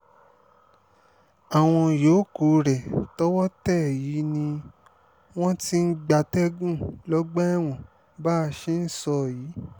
àwọn yòókù rẹ̀ tọwọ́ tẹ̀ yìí ni wọ́n ti ń gbatẹ́gùn lọ́gbà ẹ̀wọ̀n bá a ṣe ń sọ yìí